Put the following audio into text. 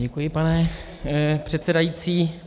Děkuji, pane předsedající.